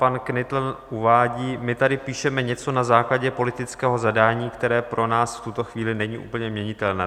Pan Knitl uvádí: "My tady píšeme něco na základě politického zadání, které pro nás v tuto chvíli není úplně měnitelné."